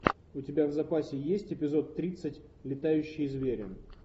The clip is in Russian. у тебя в запасе есть эпизод тридцать летающие звери